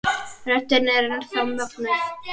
Röddin er enn þá mögnuð.